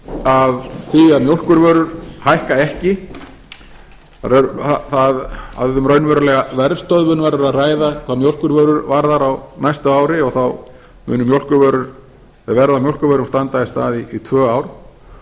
af því að mjólkurvörur hækka ekki að um raunverulega verðstöðvun verður að ræða hvað mjólkurvörum varðar á næsta ári og þá mun verð á mjólkurvörum standa í stað í tvö ár